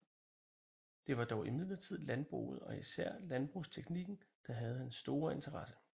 Det var dog imidlertid landbruget og især landbrugsteknikken der havde hans store interesse